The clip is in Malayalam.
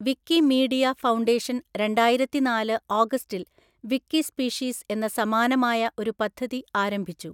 വിക്കിമീഡിയ ഫൗണ്ടേഷൻ രണ്ടായിരത്തിനാല് ഓഗസ്റ്റിൽ 'വിക്കിസ്പീഷീസ്' എന്ന സമാനമായ ഒരു പദ്ധതി ആരംഭിച്ചു.